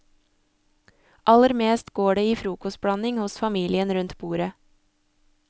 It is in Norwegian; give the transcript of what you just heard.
Aller mest går det i frokostblanding hos familien rundt bordet.